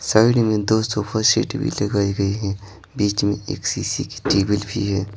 Side में दो sofa seat भी लगाई गई हैं बीच में एक शीशे की टेबल भी है।